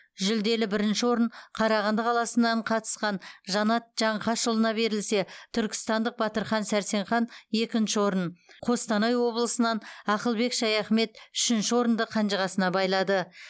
жүлделі бірінші орын қарағанды қаласынан қатысқан жанат жаңқашұлына берілсе түркістандық батырхан сәрсенхан екінші орын қостанай облысынан ақылбек шаяхмет үшінші орынды қанжығасына байлады